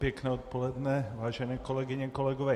Pěkné odpoledne, vážené kolegyně, kolegové.